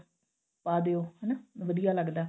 ਪਾ ਦਿਓ ਹਨਾ ਵਧੀਆ ਲੱਗਦਾ